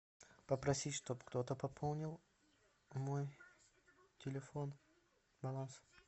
попросить чтоб кто то пополнил мой телефон баланс